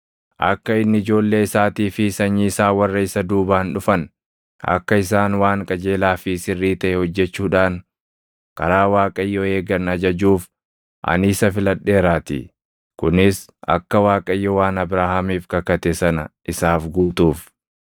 Akka inni ijoollee isaatii fi sanyii isaa warra isa duubaan dhufan, akka isaan waan qajeelaa fi sirrii taʼe hojjechuudhaan karaa Waaqayyoo eegan ajajuuf ani isa filadheeraatii; kunis akka Waaqayyo waan Abrahaamiif kakate sana isaaf guutuuf.”